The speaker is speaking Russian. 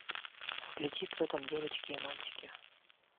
включи кто там девочки и мальчики